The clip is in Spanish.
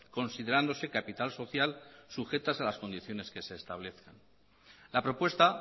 considerándose capital social sujetas a las condiciones que se establezcan la propuesta